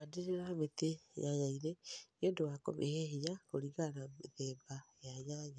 handĩrĩra mĩtĩ nyanya ĩnĩ nĩũndũ wa kũmĩhe hĩnya kũrĩngana na mĩthemba ya nyanya